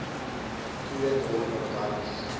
twee dorpe garies